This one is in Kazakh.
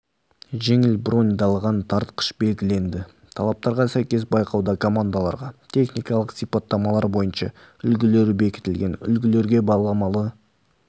жеңіл броньдалған тартқыш белгіленді талаптарға сәйкес байқауда командаларға техникалық сипаттамалар бойынша үлгілер бекітілген үлгілерге баламалы